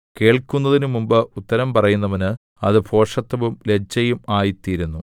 കേൾക്കുന്നതിനു മുമ്പ് ഉത്തരം പറയുന്നവന് അത് ഭോഷത്തവും ലജ്ജയും ആയിത്തീരുന്നു